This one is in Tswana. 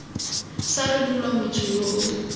sa rebolwa motho yo o